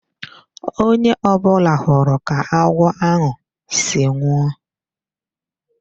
Onye ọ bụla hụrụ ka agwọ ahụ si nwụọ.